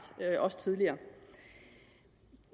også tidligere